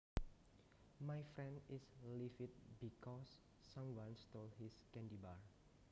My friend is livid because someone stole his candy bar